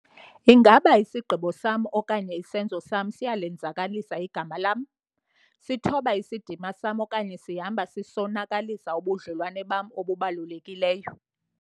Ingaba isigqibo sam okanye isenzo sam siyalenzakalisa igama lam, sithoba isidima sam okanye sihamba sisonakalisa ubudlelwane bam obubalulekileyo?